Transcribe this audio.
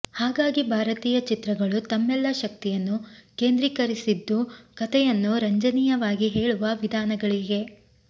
ಹಾಗಾಗಿ ಭಾರತೀಯ ಚಿತ್ರಗಳು ತಮ್ಮೆಲ್ಲ ಶಕ್ತಿಯನ್ನು ಕೇಂದ್ರೀಕರಿಸಿದ್ದು ಕತೆಯನ್ನು ರಂಜನೀಯವಾಗಿ ಹೇಳುವ ವಿಧಾನಗಳಿಗೆ